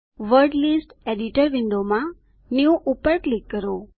word list editor window માં new પર click કરો